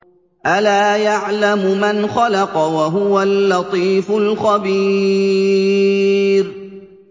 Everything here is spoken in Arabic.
أَلَا يَعْلَمُ مَنْ خَلَقَ وَهُوَ اللَّطِيفُ الْخَبِيرُ